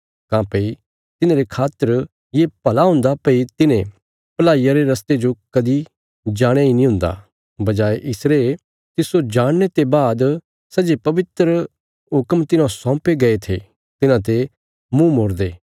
काँह्भई तिन्हांरे खातर ये भला हुन्दा भई तिन्हें भलाईया रे रस्ते जो कदीं जाणया इ नीं हुन्दा बजाये इसरे तिस्सो जाणने ते बाद सै जे पवित्र हुक्म तिन्हौं सौपे गये थे तिन्हांते मुँह मोड़दे